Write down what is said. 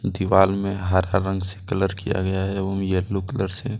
दिवाल में हरा रंग से कलर किया गया है एवं येलो कलर से --